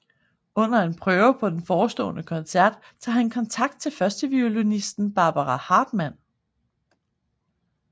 Under en prøve på en forestående koncert tager han kontakt til førsteviolinisten Barbara Hartman